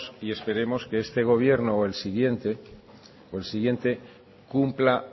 y esperemos que este gobierno o el siguiente cumpla